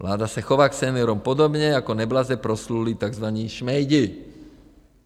Vláda se chová k seniorům podobně jako neblaze proslulí takzvaní šmejdi.